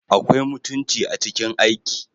Akwai mutunci a cikin aiki